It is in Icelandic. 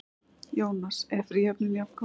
Jónas: Er fríhöfnin jafngóð?